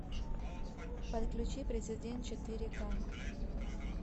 подключи президент четыре ка